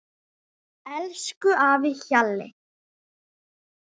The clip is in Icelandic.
Elsku afi Hjalli.